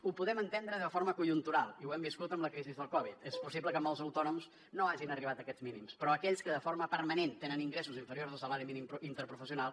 ho podem entendre de forma conjuntural i ho hem viscut amb la crisi del covid és possible que molts autònoms no hagin arribat a aquests mínims però aquells que de forma permanent tenen ingressos inferiors al salari mínim interprofessional